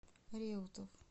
реутов